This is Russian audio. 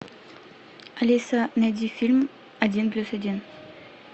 алиса найди фильм один плюс один